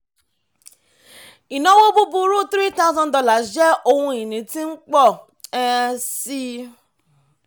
ìnáwó búburú three thousand dollars jẹ́ ohun ìní tí ń pọ̀ um sí i.